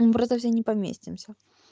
мы просто все не поместимся